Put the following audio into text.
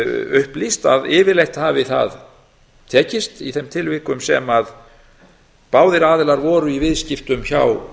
upplýst að yfirleitt hafi það tekist í þeim tilvikum sem báðir aðilar voru í viðskiptum hjá